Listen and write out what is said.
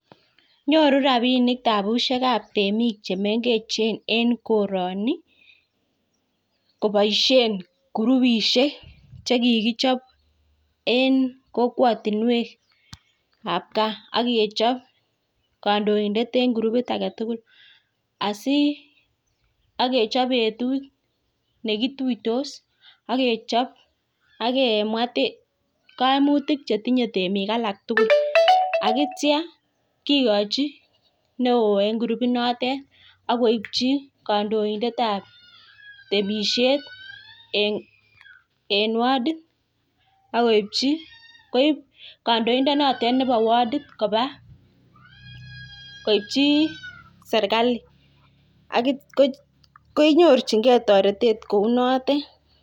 Nyoru rabinik tabusiek ab temik chemengechen en koroni koboisheni kurupishek en korotinwek ab gaa, ak kechop kondoindet ab kurupit age tugul, ak kechop betut ne kituitos ak kechop ak kemwa koimutik che tinye temik alak tugul ak kityo kigochi neo en kurupit noton ak koipchi kandoindet ab temsiet en wardit ak koipchi, koip kondoindonoti nebo wardit koba koipchi serkali akenyorchinge toretet kou notet.